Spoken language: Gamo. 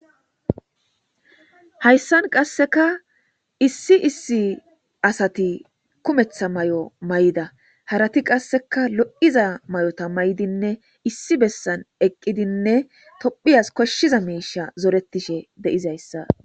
hayssan qasseka issi issi asati kumetha may7o may7da harati qasseka lo7iza may7ota may7dinne issi bessan eqqidinne tophiyas koshshiza miisha zoretishe deizayssa